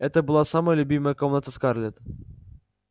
это была самая любимая комната скарлетт